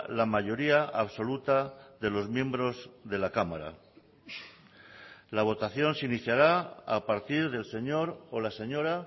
la mayoría absoluta de los miembros de la cámara la votación se iniciará a partir del señor o la señora